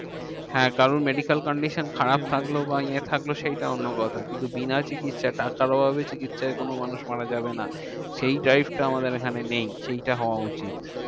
হ্যাঁ কারোর medical condition খারাপ থাকলো বা ইয়ে থাকলো সেইটা অন্য কথা। কিন্তু বিনা চিকিৎসা টাকার অভাবে চিকিৎসায় কোনো মানুষ মারা যাবে না। সেই drive টা আমাদের এখানে নেই, সেইটা হওয়া উচিত।